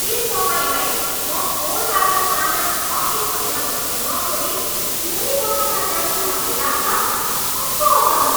के तपाईँलाई म फोनबाट सामान छ कि छैन भनी नसोधी सिधै पसलमा जान्छु भन्ने लाग्छ? कस्तो अचम्म!